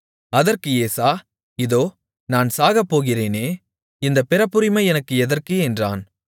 அதற்கு ஏசா இதோ நான் சாகப்போகிறேனே இந்தப் பிறப்புரிமை எனக்கு எதற்கு என்றான்